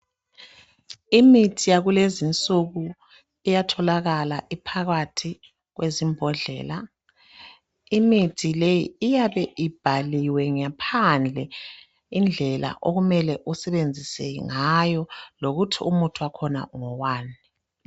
Imithi yakulezi nsuku iyatholakala iphakathi kwezimbodlela . Imithi le iyabe ibhaliwe ngaphandle indlela okumele usebenzise ngayo lokuthi umuthi wakhona ngowani.